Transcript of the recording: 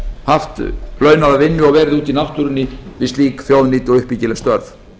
haft launaða vinnu og verið úti í náttúrunni við slík þjóðnýt og uppbyggileg störf